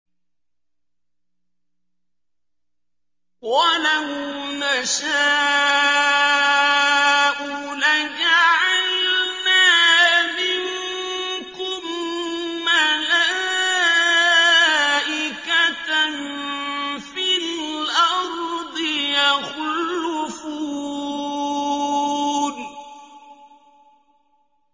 وَلَوْ نَشَاءُ لَجَعَلْنَا مِنكُم مَّلَائِكَةً فِي الْأَرْضِ يَخْلُفُونَ